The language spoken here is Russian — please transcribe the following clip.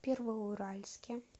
первоуральске